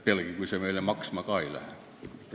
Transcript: Pealegi kui see meile mitte midagi maksma ei lähe.